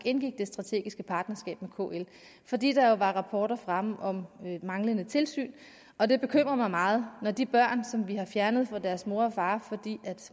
indgik det strategiske partnerskab med kl fordi der jo var rapporter fremme om manglende tilsyn og det bekymrer mig meget når de børn som vi har fjernet fra deres mor og far fordi